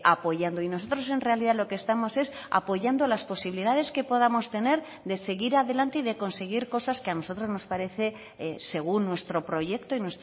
apoyando y nosotros en realidad lo que estamos es apoyando las posibilidades que podamos tener de seguir adelante y de conseguir cosas que a nosotros nos parece según nuestro proyecto y